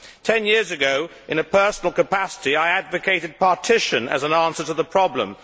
Ten years ago, in a personal capacity, I advocated partition as an answer to the problem.